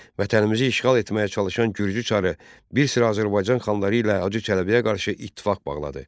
Vətənimizi işğal etməyə çalışan Gürcü çarı bir sıra Azərbaycan xanları ilə Hacı Çələbiyə qarşı ittifaq bağladı.